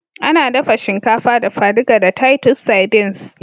Ana dafa shinkafa dafa-duka da titus sardines